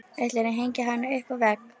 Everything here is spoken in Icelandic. Ætlarðu að hengja hana upp á vegg?